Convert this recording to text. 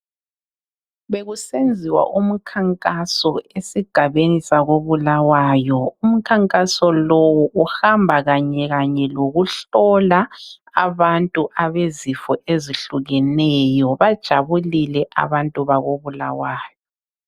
Bekusenziwa umkhankaso esigabeni sakoBulawayo. Umkhankaso lowu uhamba kanye, kanye lokuhlola abantu abezifo ezehlukeneyo. Bajabulile abantu bakoBulawayo.